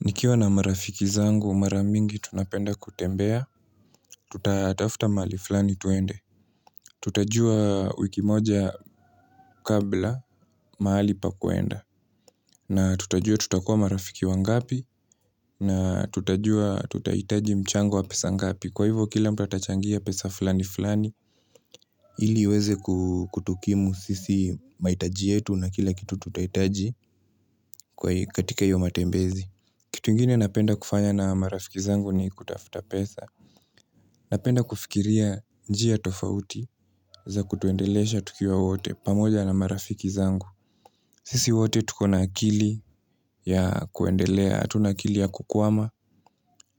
Nikiwa na marafiki zangu mara mingi tunapenda kutembea, tutatafta mahali flani twende. Tutajua wiki moja kabla mahali pa kuenda. Na tutajua tutakua marafiki wangapi na tutajua tutahitaji mchango wa pesa ngapi. Kwa hivyo kila mtu atachangia pesa flani flani ili iweze kutukimu sisi mahitaji yetu na kila kitu tutahitaji kwa katika io matembezi. Kitu ingine napenda kufanya na marafiki zangu ni kutafuta pesa. Napenda kufikiria njia tofauti za kutuendelesha tukiwa wote pamoja na marafiki zangu. Sisi wote tuko na akili ya kuendelea. Atuna akili ya kukwama,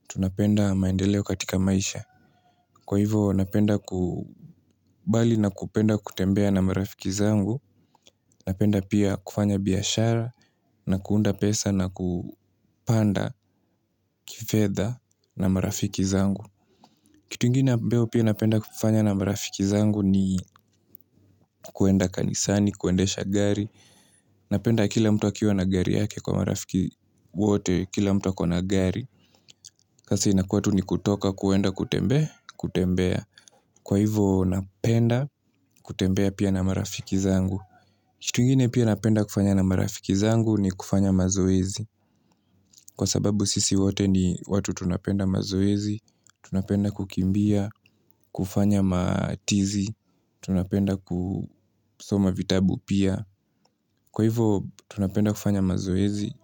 tunapenda maendeleo katika maisha. Kwa hivo napenda ku bali na kupenda kutembea na marafiki zangu. Napenda pia kufanya biashara na kuunda pesa na kupanda kifedha na marafiki zangu. Kitu ingine ambayo pia napenda kufanya na marafiki zangu ni kwenda kanisani, kuendesha gari, napenda kila mtu akiwa na gari yake kwa marafiki wote, kila mtu ako na gari, sasa inakua tu ni kutoka kwenda kutembea, kutembea, kwa hivo napenda kutembea pia na marafiki zangu. Kitu ingine pia napenda kufanya na marafiki zangu ni kufanya mazoezi. Kwa sababu sisi wote ni watu tunapenda mazoezi, tunapenda kukimbia, kufanya matizi, tunapenda kusoma vitabu pia. Kwa hivo tunapenda kufanya mazoezi,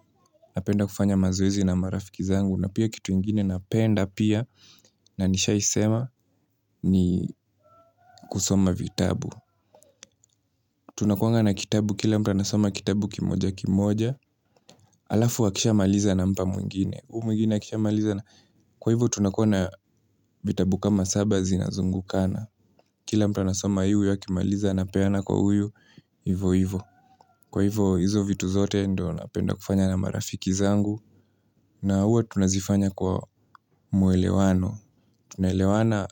napenda kufanya mazoezi na marafiki zangu na pia kitu ingine napenda pia na nishaisema ni kusoma vitabu. Tunakuanga na kitabu, kila mtu anasoma kitabu kimoja kimoja. Alafu akishamaliza anampa mwingine huyu mwingine akishamaliza kwa hivyo tunakua na vitabu kama saba zinazungukana. Kila mtu anasoma yuyu akimaliza anapeana kwa huyu, hivo hivo. Kwa hivyo hizo vitu zote ndo napenda kufanya na marafiki zangu. Na huwa tunazifanya kwa muelewano. Tunaelewana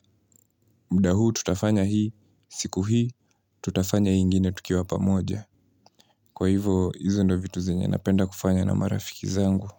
mda huu tutafanya hii, siku hii, tutafanya hio ingine tukiwa pamoja. Kwa hivo hizo ndo vitu zenye napenda kufanya na marafiki zangu.